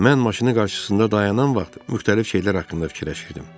Mən maşının qarşısında dayanan vaxt müxtəlif şeylər haqqında fikirləşirdim.